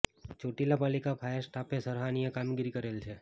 ચોટીલા પાલિકા ફાયર સ્ટાફે સરહાનિય કામગીરી કરેલ છે